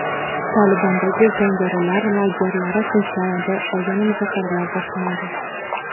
"Tolibon"dagi jangarilar lagerlari tinchlanadi va yana muzokaralar boshlanadi.